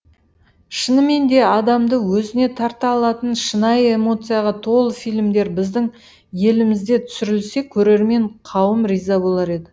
шыныменде адамды өзіне тарта алатын шынайы эмоцияға толы фильмдер біздің елімізде түсірілсе көрермен қауым риза болар еді